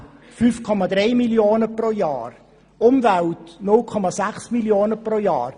Unfälle sind mit 5,3 Mio. Franken pro Jahr enthalten, die Umwelt mit 0,6 Mio. Franken pro Jahr.